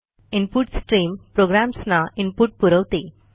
input stream प्रोग्रॅम्सना input पुरवते